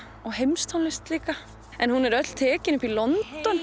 og heimstónlist líka en hún er öll tekin upp í London